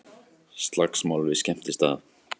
Slagsmál við skemmtistað